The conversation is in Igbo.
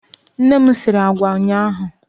Nne m sịrị àgwà ụnyaahụ.